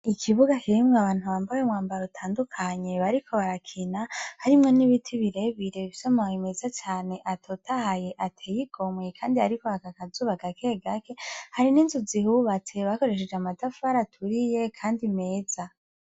Ikibuga kirimwo abantu bambaye umwambaro utandukanye bariko barakina harimwo n'ibiti birebire bifise amabi meza cane atotahaye ateye igomwe kandi hariko haraka akazuba gake gake hari n'inzu zihubatse bakoresheje amatafari aturiye kandi meza.